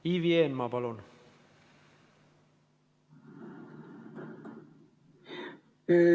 Ivi Eenmaa, palun!